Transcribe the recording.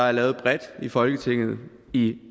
er lavet bredt i folketinget i